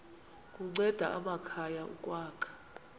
kunceda amakhaya ukwakha